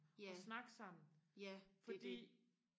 ja ja det er det